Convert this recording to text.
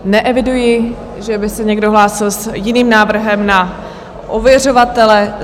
Neeviduji, že by se někdo hlásil s jiným návrhem na ověřovatele.